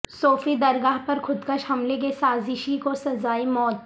صوفی درگاہ پر خودکش حملہ کے سازشی کو سزائے موت